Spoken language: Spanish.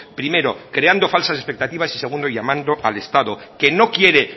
primero creando falsas expectativas y segundo llamando al estado que no quiere